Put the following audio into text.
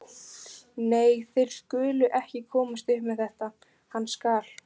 Nei, þeir skulu ekki komast upp með þetta, hann skal.